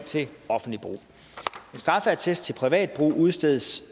til offentligt brug en straffeattest til privat brug udstedes